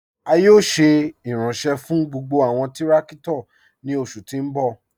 A yóò ṣé iranṣẹ̀ fún gbogbo awọn tìrakito ni oṣù ti n bọ̀.